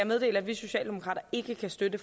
meddele at vi socialdemokrater ikke kan støtte